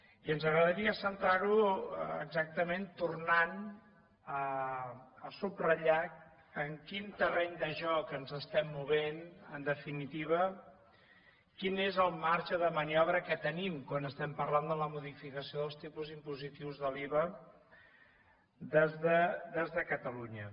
i ens agradaria centrar ho exactament tornant a subratllar en quin terreny de joc ens estem movent en definitiva quin és el marge de maniobra que tenim quan estem parlant de la modificació dels tipus impositius de l’iva des de catalunya